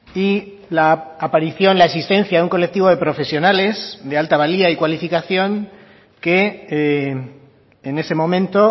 y la aparición la existencia de un colectivo de profesionales de alta valía y cualificación que en ese momento